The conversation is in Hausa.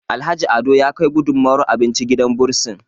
Alhaji Ado ya Kai gudunmawar abinci gidan bursin